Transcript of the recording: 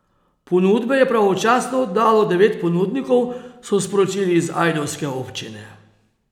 Ponudbe je pravočasno oddalo devet ponudnikov, so sporočili iz ajdovske občine.